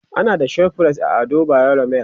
ana da ShopRite a Ado bayero mall